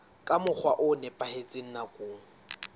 ka mokgwa o nepahetseng nakong